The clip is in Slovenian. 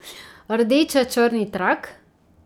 Rdeče črni trak!